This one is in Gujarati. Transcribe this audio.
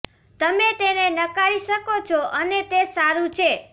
તમે તેને નકારી શકો છો અને તે સારું છે